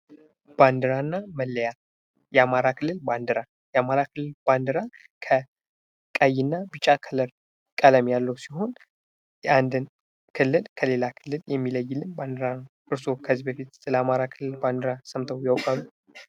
ባንዲራና መለያ የአማራ ክልል ባንዲራ የአማራ ክልል ባንዲራ ከቀይና ቢጫ ከለር ቀለም ያለው ሲሆን የአንድን ክልል ከሌላ ክልል የሚለይልን ባንድራ ነው። እርስዎ ከዚህ በፊት ስለ አማራ ክልል ባንዲራ ሰምተው ያውቃሉ?